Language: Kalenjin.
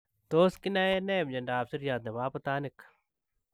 Tos kinae nee miondoop siryaat nepoo abutanik ?